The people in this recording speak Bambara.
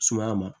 Sumaya ma